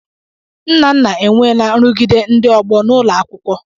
Nnanna enweela nrụgide ndị ọgbọ n'ụlọ akwụkwọ.